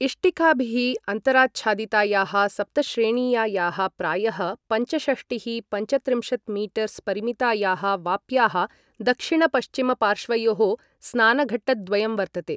इष्टिकाभिः अन्तराच्छादितायाः सप्तश्रेणीयायाः प्रायः पञ्चषष्टिः पञ्चत्रिंशत् मीटर्स् परिमितायाः वाप्याः दक्षिणपश्चिमपार्श्वयोः स्नानघट्टद्वयं वर्तते।